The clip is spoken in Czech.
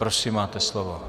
Prosím, máte slovo.